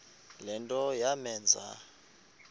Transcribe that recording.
le nto yamenza